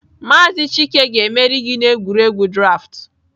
Maazị chike ga-emeri gị n'egwuregwu draaftụ.